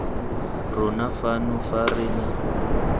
rona fano fa re na